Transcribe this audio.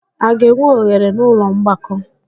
A ga-enwe oghere n'ụlọ mgbakọ?